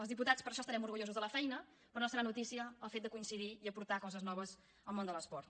els diputats per això estarem orgullosos de la feina però no serà notícia el fet de coincidir i aportar coses noves al món de l’esport